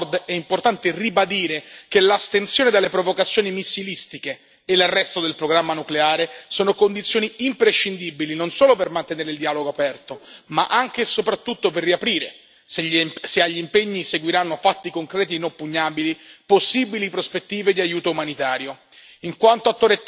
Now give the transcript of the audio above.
Quanto alla Corea del Nord, è importante ribadire che l'astensione dalle provocazioni missilistiche e l'arresto del programma nucleare sono condizioni imprescindibili non solo per mantenere il dialogo aperto, ma anche e soprattutto per riaprire, se agli impegni seguiranno fatti concreti e inoppugnabili, possibili prospettive di aiuto umanitario.